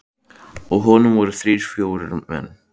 Á honum voru þrír til fjórir menn.